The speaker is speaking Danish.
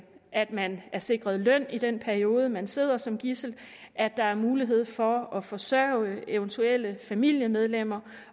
at man er sikret løn i den periode man sidder som gidsel at der er mulighed for at forsørge eventuelle familiemedlemmer